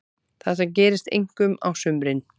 Þetta gerist einkum á sumrin.